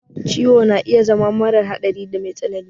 Ciwo na iya zama mara hadari da me tsanani.